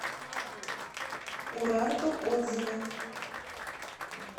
урарту отзывы